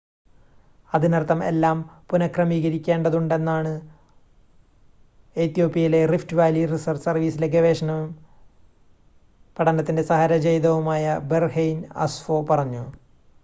അതിനർത്ഥം എല്ലാം പുനഃക്രമീകരിക്കേണ്ടതുണ്ടെന്നാണ് എത്യോപ്യയിലെ റിഫ്റ്റ് വാലി റിസർച്ച് സർവീസിലെ ഗവേഷകനും പഠനത്തിൻ്റെ സഹ രചയിതാവുമായ ബെർഹെയ്ൻ അസ്ഫോ പറഞ്ഞു